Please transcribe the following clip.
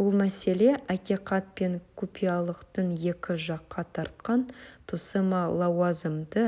бұл мәселе ақиқат пен құпиялылықтың екі жаққа тартқан тұсы ма лауазымды